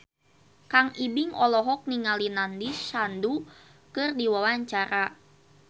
Kang Ibing olohok ningali Nandish Sandhu keur diwawancara